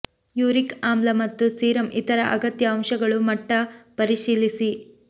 uric ಆಮ್ಲ ಮತ್ತು serum ಇತರ ಅಗತ್ಯ ಅಂಶಗಳು ಮಟ್ಟ ಪರಿಶೀಲಿಸಿ